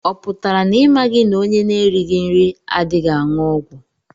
Ọ pụtara na imaghi na ọnye na -erighi nri adịghị anwụ ọgwụ?